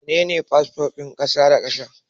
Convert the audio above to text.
Mene fasfon kasa da kasa?